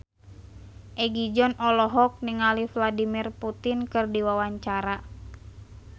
Egi John olohok ningali Vladimir Putin keur diwawancara